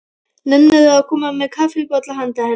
Nennirðu að koma með kaffibolla handa henni